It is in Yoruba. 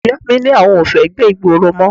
Ìyá mi ni àwọn ò fẹ́ gbé ìgboro mọ́